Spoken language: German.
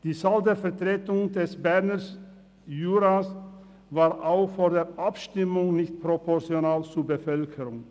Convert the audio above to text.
Die Zahl der Vertretung des Berner Juras war auch vor der Abstimmung nicht proportional zur Bevölkerung.